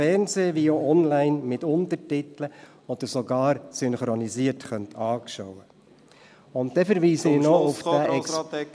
Für die FDP-Fraktion hat Grossrat Niederhauser das Wort.